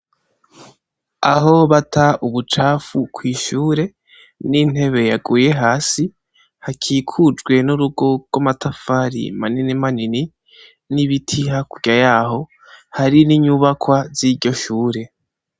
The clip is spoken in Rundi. Aho bata ubucafu kw'ishure ni intebe yaguye hasi hakikujwe nurugo rw'amatafari manini manini n'ibiti hakurya yaho hari ninyubakwa ziryo shure.